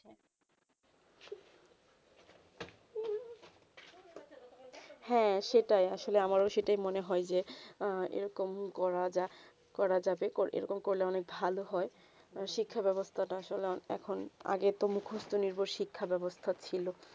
হেঁ সেটাই আসলে আমারও সেটাই মনে হয়ে যে এইরকম করা যা করা যাবে এইরকম করলে অনেক ভালো হয়ে শিক্ষা বেবস্তা তা এখন আগে তো মুখস্ত নির্ভর শিক্ষা বেবস্তা ছিল